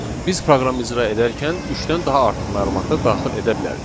Biz proqramı icra edərkən üçdən daha artıq məlumat da daxil edə bilərik.